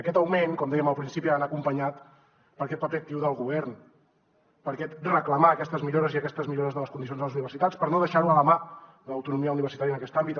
aquest augment com dèiem al principi ha d’anar acompanyat per aquest paper actiu del govern per aquest reclamar aquestes millores de les condicions de les universitats per no deixar ho a la mà de l’autonomia universitària en aquest àmbit